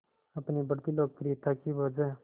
अपनी बढ़ती लोकप्रियता की वजह